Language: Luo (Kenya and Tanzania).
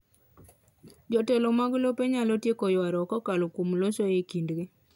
Jotelo mag lope nyalo tieko ywaruok kokalo kuom loso e kindgi